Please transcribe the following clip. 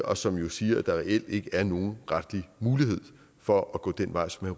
og som jo siger at der reelt ikke er nogen retlig mulighed for at gå den vej som